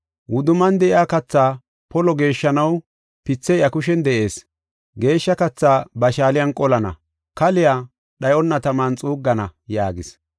Wudumman de7iya kathaa polo geeshshanaw pithey iya kushen de7ees. Geeshsha kathaa ba shaaliyan qolana; kaliya dhayonna taman xuuggana” yaagis.